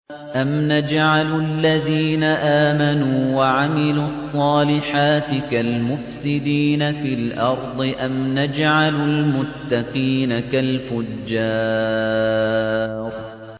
أَمْ نَجْعَلُ الَّذِينَ آمَنُوا وَعَمِلُوا الصَّالِحَاتِ كَالْمُفْسِدِينَ فِي الْأَرْضِ أَمْ نَجْعَلُ الْمُتَّقِينَ كَالْفُجَّارِ